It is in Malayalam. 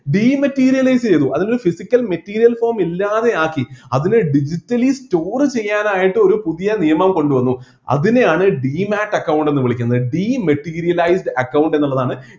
dematerialise ചെയ്‌തു അതിനെ physical material form ഇല്ലാതെയാക്കി അതിനെ digitally store ചെയ്യാനായിട്ട് ഒരു പുതിയ നിയമം കൊണ്ടുവന്നു അതിനെയാണ് demate account എന്ന് വിളിക്കുന്നത് dematerialise account എന്നുള്ളതാണ്